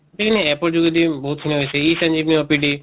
খিনি APP ৰ যোগেদি বহুত খিনি হৈছে e সঞ্জীভিনি OPD